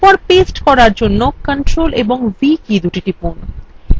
তারপর paste করার জন্য ctrl ও v কী দুটি টিপুন